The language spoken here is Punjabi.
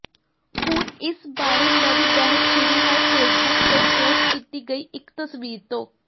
ਹੁਣ ਇਸ ਬਾਰੇ ਨਵੀਂ ਬਹਿਸ ਛਿੜੀ ਹੈ ਫੇਸਬੁਕ ਤੇ ਪੋਸਟ ਕੀਤੀ ਗਈ ਇੱਕ ਤਸਵੀਰ ਤੋਂ